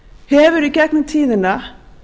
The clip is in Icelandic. hefur í gegnum tíðina